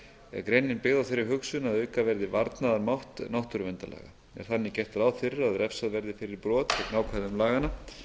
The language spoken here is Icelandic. er greinin byggð á þeirri hugsun að auka verði varnaðarmátt náttúruverndarlaga er þannig gert ráð fyrir að refsað verði fyrir brot gegn ákvæðum laganna